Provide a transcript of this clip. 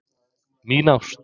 Mín Ást.